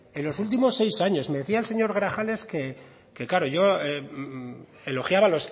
en los últimos seis años me decía el señor grajales que claro yo elogiaba